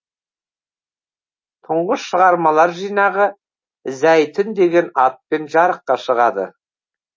тұңғыш шығармалар жинағы зәйтүн деген атпен жарыққа шығады